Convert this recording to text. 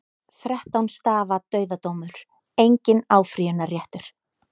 Þrettán stafa dauðadómur, enginn áfrýjunarréttur.